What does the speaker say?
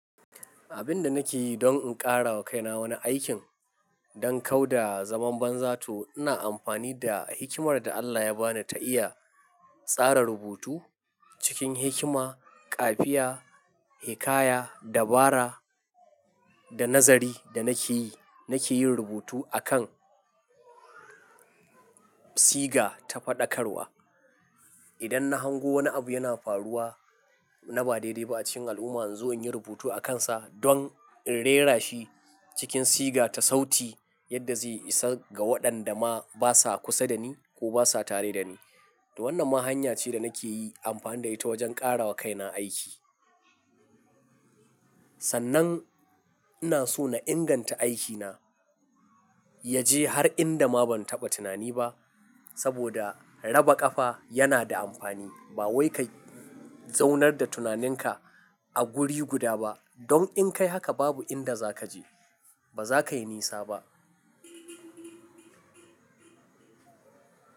Abin da nake yi don in ƙara wa kaina wani aikin don kau da zaman banza to ina amfani da hikimar da Allah ya bani ta iya tsara rubutu cikin hikima, ƙafiya, hikaya, dabara da nazari da nake yi. Nake yin rubutu akan siga ta faɗakarwa. Idan na hango wani abu yana faruwa na ba daidai ba a cikin al'umma, in zo in yi rubutu akansa don in rera shi cikin siga ta sauti yadda zai isa ga waɗanda ma basa kusa da ni ko basa tare da ni. To wannan ma hanya ce da nake yi amfani da ita wajen ƙara wa kaina aiki. Sannan ina so na inganta aikina ya je har inda ma ban taɓa tunani ba saboda raba ƙafa yana da amfani. Ba wai ka zaunar da tunaninka a guri guda ba. Don in kai haka babu inda za ka je, ba za ka yi nisa ba.